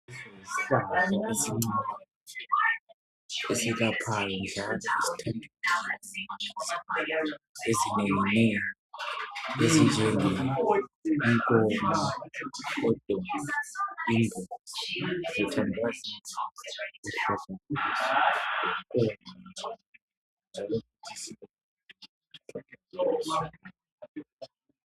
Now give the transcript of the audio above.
Lesiyihlahla esincane esiyelaphayo izifo ezinenginengi ezinjenge inkomo, lemaqubu, silombala oluhlaza